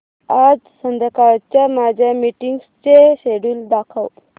आज संध्याकाळच्या माझ्या मीटिंग्सचे शेड्यूल दाखव